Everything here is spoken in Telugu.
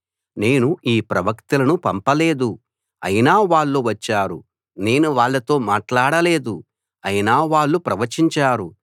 నేను ఈ ప్రవక్తలను పంపలేదు అయినా వాళ్ళు వచ్చారు నేను వాళ్ళతో మాట్లాడలేదు అయినా వాళ్ళు ప్రవచించారు